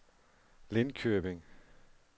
Lindköping